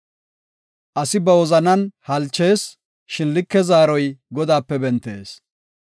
Asi ba wozanan halchees; shin like zaaroy Godaape bentees.